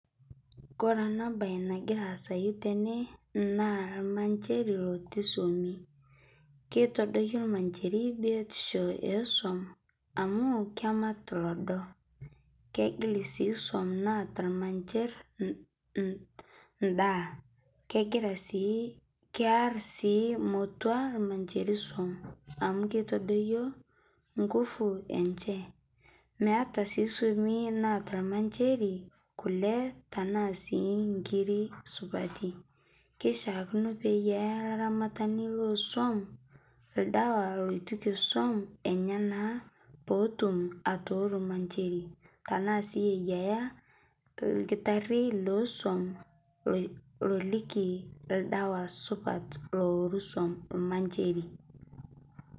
Kore ana bayi nagira asayu tene naa lmancheeri lotii soumi, keitodokii lmancheeri biotisho e soum amu kemaat loodo. Kegiil sii soum naata lmancheeri ndaa. Kegiraa sii, kearr sii mootua lmancheeri soum amu keitodoio nguvu enchee. Meeta sii soumie naata lmancheeri nkulee ana sii nkiiri supati. Keishakinoo peiye eyaa laaramatani le soum ldewaa loitukie soum enyee naa poo otuum atooru lmancheeri tana sii aiyeya lkitaari lo soum loilikii ldewa supaat looru soum lmaancheeri.